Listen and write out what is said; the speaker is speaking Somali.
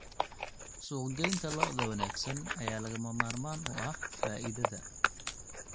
Suuqgeynta lo'da wanaagsan ayaa lagama maarmaan u ah faa'iidada.